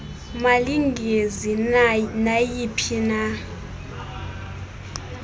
malingenzi nayi phina